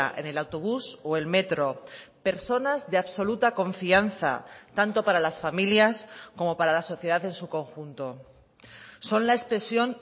en el autobús o el metro personas de absoluta confianza tanto para las familias como para la sociedad en su conjunto son la expresión